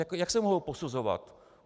Jak se mohou posuzovat?